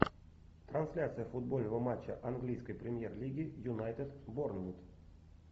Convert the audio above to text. трансляция футбольного матча английской премьер лиги юнайтед борнмут